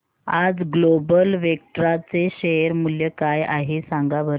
आज Global Vectra चे share मूल्य काय आहे सांगा बरं